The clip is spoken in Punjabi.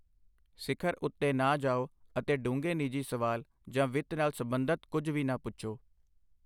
ਸਿਖਰ ਉੱਤੇ ਨਾ ਜਾਓ, ਅਤੇ ਡੂੰਘੇ ਨਿੱਜੀ ਸਵਾਲ ਜਾਂ ਵਿੱਤ ਨਾਲ ਸਬੰਧਤ ਕੁੱਝ ਵੀ ਨਾ ਪੁੱਛੋ।